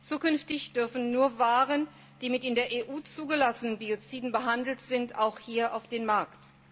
Zukünftig dürfen nur Waren, die mit in der EU zugelassenen Bioziden behandelt sind, auch hier auf den Markt.